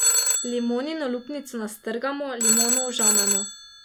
Limonino lupnico nastrgamo, limono ožamemo.